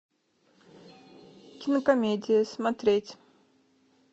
кинокомедия смотреть